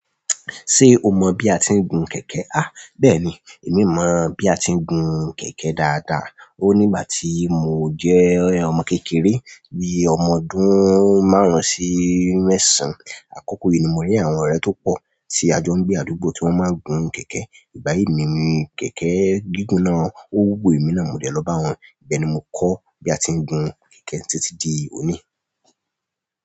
Ṣé o mọ̀ bí a ti ń gun kẹ̀kẹ́? À, bẹ́ẹ̀ni, èmi mọ bí a ti ń gun kẹ̀kẹ́ dáadáa. Ó nígbà tí mo jẹ́ ọmọ kékeré, bí i ọmọ ọdún márùn-ún sí mẹ́sàn-án. Àkókò yi ní mo rí àwọn ọrẹ tó pọ tí a jọ ń gbé àdùgbò tí wọn má gùn kẹ̀kẹ́ igbayi ní kẹ̀kẹ́ gígùn nà o wú emi nà mó dẹ lọ b'awọn. Ìbẹ́ ni mo kọ́ bí a ti ń gun kẹ̀kẹ́ títí di òní.